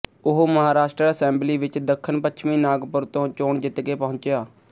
ਉਹ ਮਹਾਂਰਸ਼ਟਰ ਅਸੈਂਬਲੀ ਵਿੱਚ ਦੱਖਣ ਪੱਛਮੀ ਨਾਗਪੁਰ ਤੋਂ ਚੋਣ ਜਿੱਤਕੇ ਪਹੁੰਚਿਆ